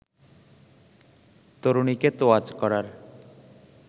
তরুণীকে তোয়াজ করার